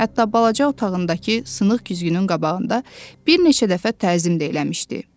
Hətta balaca otağındakı sınıq güzgünün qabağında bir neçə dəfə təzim də eləmişdi.